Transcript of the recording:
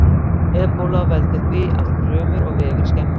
Ebóla veldur því að frumur og vefir skemmast.